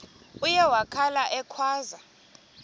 uye wakhala ekhwaza